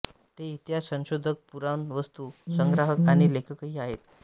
हे इतिहास संशोधक पुराणवस्तू संग्राहक आणि लेखकही आहेत